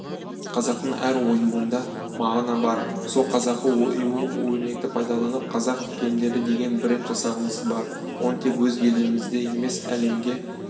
қазақтың әр оюында мағына бар сол қазақы ою-өрнекті пайдаланып қазақ кілемдері деген бренд жасағымыз бар оны тек өз елімізде емес әлемге